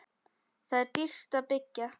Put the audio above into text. Þar er dýrt að byggja.